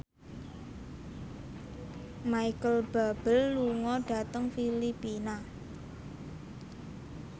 Micheal Bubble lunga dhateng Filipina